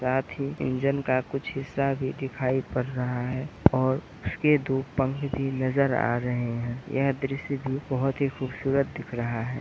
साथ ही कुछ इंजन का कुछ हिस्सा भी दिखाई पड़ रहा है और उसके दो पंख भी नजर आरहे है यह दृश्य भी बहोत ही खूबसूरत दिख रहा है।